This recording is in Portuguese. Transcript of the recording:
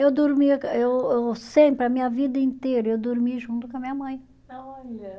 Eu dormia, eu eu sempre, a minha vida inteira, eu dormi junto com a minha mãe. Olha